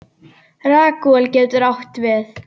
Ragúel getur átt við